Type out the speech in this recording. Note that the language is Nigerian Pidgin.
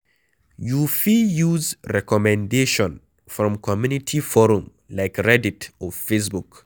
You fit use recommendation from community forum like Reddit or Facebook